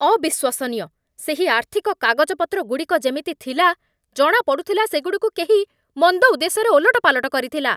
ଅବିଶ୍ୱସନୀୟ! ସେହି ଆର୍ଥିକ କାଗଜପତ୍ରଗୁଡ଼ିକ ଯେମିତି ଥିଲା, ଜଣାପଡ଼ୁଥିଲା ସେଗୁଡ଼ିକୁ କେହି ମନ୍ଦ ଉଦ୍ଦେଶ୍ୟରେ ଓଲଟପାଲଟ କରିଥିଲା!